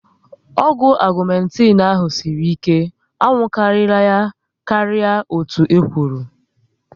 Ọgwụ Ọgumetin ahụ sịrị ike, a nwụkwara ya karịa otú e kwụrụ